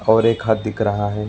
और एक हद दिख रहा है।